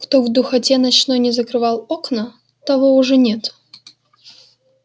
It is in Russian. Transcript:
кто в духоте ночной не закрывал окна того уж нет